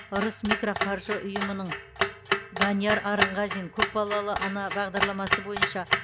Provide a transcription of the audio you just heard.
ырыс микроқаржы ұйымының данияр арынғазин көпбалалы ана бағдарламасы бойынша